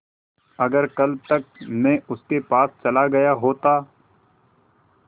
अगर कल तक में उनके पास चला गया होता